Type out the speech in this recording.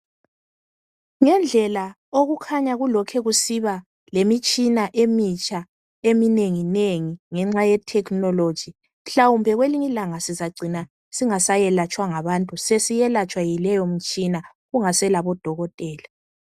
Ngendlela okukhanya kulokhu kusiba lemitshina emitsha eminengi nengi ngenxa ye"technology",mhlawumbe kwelinye ilanga sizagcina sesingelatshwa ngabantu, sesiyelatshwa ngaleyimitshina kungasela bodokotela.